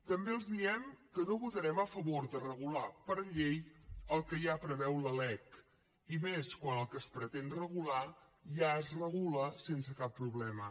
també els diem que no votarem a favor de regular per llei el que ja preveu la lec i més quan el que es pretén regular ja es regula sense cap problema